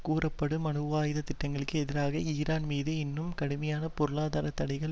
கூறப்படும் அணுவாயுத திட்டங்களுக்கு எதிராக ஈரான் மீது இன்னும் கடுமையான பொருளாதார தடைகள்